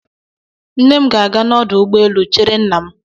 Nne m ga-aga n'ọdụ ụgbọelu chere nna m.